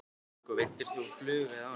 Helga: Og veiddir þú á flugu eða ánamaðk?